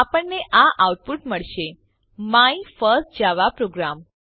આપણને આ આઉટપુટ મળશે માય ફર્સ્ટ જાવા પ્રોગ્રામ